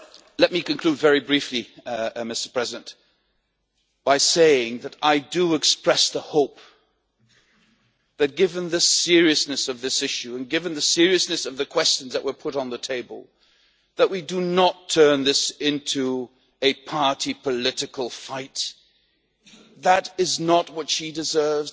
Let me conclude very briefly by saying that I do express the hope that, given the seriousness of this issue, and given the seriousness of the questions that were put on the table, we do not turn this into a party political fight. That is not what she deserves.